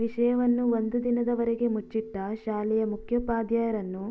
ವಿಷಯವನ್ನು ಒಂದು ದಿನದವರೆಗೆ ಮುಚ್ಚಿಟ್ಟ ಶಾಲೆಯ ಮುಖ್ಯೋಪಾಧ್ಯಾಯರನ್ನು